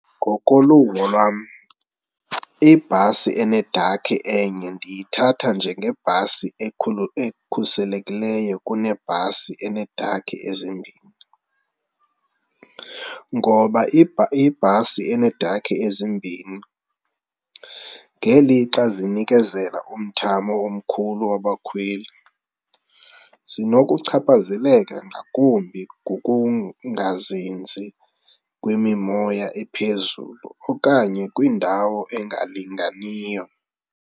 Ngokoluvo lwam, ibhasi enedakhi enye ndiyithatha njengebhasi ekhuselekileyo kunebhasi eneedakhi ezimbini. Ngoba, ibhasi eneedakha ezimbini ngelixa zinikezela umthamo omkhulu wabakhweli zinokuchaphazeka ngakumbi ngokungazinzi kwemimoya ephezulu okanye kwindawo engalinganiyo.